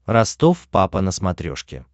ростов папа на смотрешке